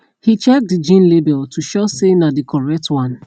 he check the jean label to sure say na the correct one